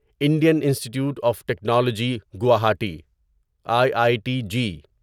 Indian Institute of Technology Guwahati I I T G